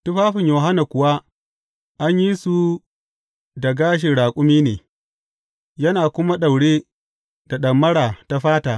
Tufafin Yohanna kuwa an yi su da gashin raƙumi ne, yana kuma daure da ɗamara ta fata.